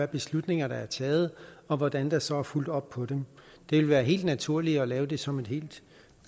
beslutninger der er taget og hvordan der så er fulgt op på dem det ville være helt naturligt at lave det som et helt